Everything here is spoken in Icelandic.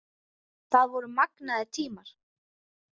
Það voru magnaðir tímar.